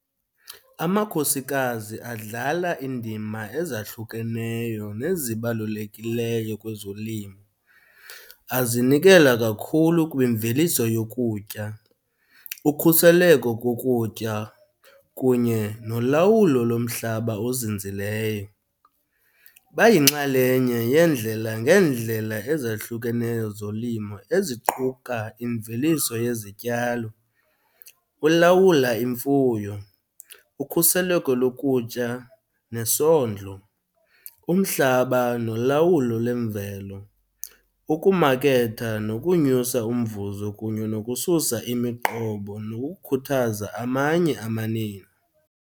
Amakhosikazi adlala iindima ezahlukeneyo nezibalulekileyo kwezolimo. Azinikezela kakhulu kwimveliso yokutya, ukhuseleko kokutya kunye nolawulo lomhlaba ozinzileyo. Bayinxalenye yeendlela ngeendlela ezahlukeneyo zolimo eziquka imveliso yezityalo, ulawula imfuyo, ukhuseleko lokutya nesondlo, umhlaba nolawulo lemvelo, ukumaketha nokunyusa umvuzo kunye nokususa imiqobo nokukhuthaza amanye amanina.